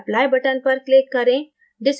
apply button पर click करें